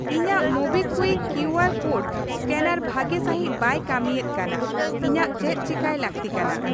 ᱤᱧᱟᱜ MobiKwik Q R code scanner ᱵᱷᱟᱜᱤ ᱥᱟᱹᱦᱤᱡ ᱵᱟᱭ ᱠᱟᱹᱢᱤᱭᱮᱫ ᱠᱟᱱᱟ, ᱤᱧᱟᱹᱜ ᱪᱮᱫ ᱪᱮᱠᱟᱭ ᱞᱟᱹᱠᱛᱤ ᱠᱟᱱᱟ ?